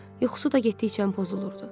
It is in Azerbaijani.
Yuxusu da getdikcə pozulurdu.